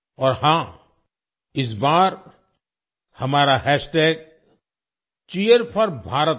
और हाँ इस बार हमारा हैशटैग Cheer4Bharat है